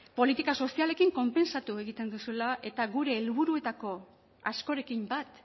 politika sozialekin konpentsatu egiten duzuela eta gure helburuetako askorekin bat